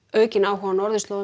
aukinn áhugi á norðurslóðum